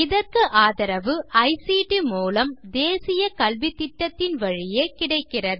இதற்கு ஆதரவு ஐசிடி மூலம் தேசிய கல்வித்திட்டத்தின் வழியே கிடைக்கிறது